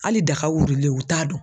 Hali daga wulilen u t'a dɔn.